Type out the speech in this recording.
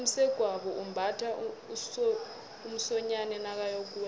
umsegwabo umbatha umsonyani nakayokuwela